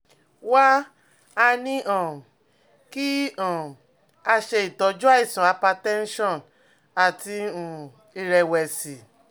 Wá a ní um kí um a ṣe itọju àìsàn hypertension àti um ìrẹ̀wẹ̀sì